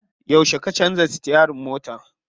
Yauce ka canza sitiyarin mota?